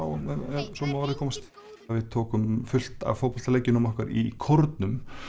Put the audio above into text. ef svo má að orði komast við tókum fullt af fótboltaleikjunum okkar í kórnum